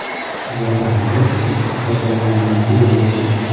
Va, albatta, davomiyligi bilan ham.